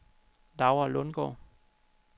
Laura Lundgaard